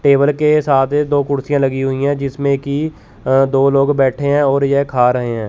Table के साथ दो कुड़सीया लगी हुई हैं जिसमें की अ दो लोग बैठे हैं और ये खा रहे हैं।